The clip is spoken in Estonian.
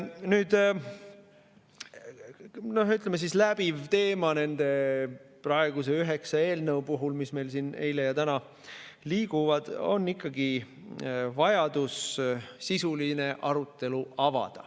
Nüüd, läbiv teema nende praeguse üheksa eelnõu puhul, mis meil siin eile olid ja täna liiguvad, on ikkagi vajadus avada sisuline arutelu.